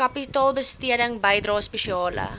kapitaalbesteding bydrae spesiale